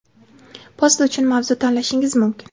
Post uchun mavzu tanlashingiz mumkin.